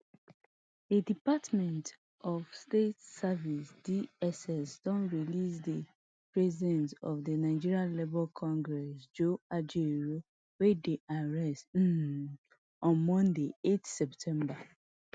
di department of state services dss don release di president of di nigeria labour congress joe ajaero wey dem arrest um on monday eight september